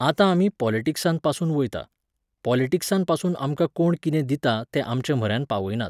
आतां आमी पॉलटिक्सांतपासून वयता, पॉलटिक्सांतपासून आमकां कोण कितें दिता तें आमचेम्हऱ्यान पावयनात.